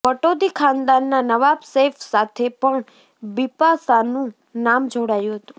પટૌદી ખાનદાનના નવાબ સૈફ સાથે પણ બિપાશાનુ નામ જોડાયુ હતું